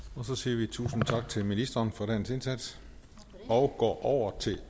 så siger vi tusind tak til ministeren for dagens indsats og går over til